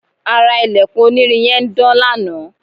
ara ilẹ̀kùn onírin yẹn ń dán lanaa